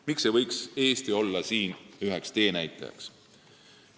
Miks ei võiks Eesti olla siin üks teenäitajaid?